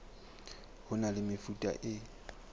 ho na le mefuta e